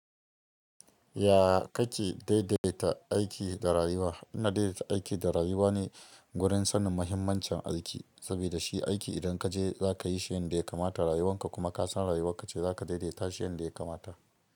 Ya ka ke daidaita aiki da rayuwa? Ina daidaita aiki da rayuwa ne gurin sanin muhimmancin aiki. Saboda shi aiki idan ka je za ka yi shi yanda ya kamata rayuwanka kuma ka san rayuwarka ce za ka daidaita shi yanda ya kamata.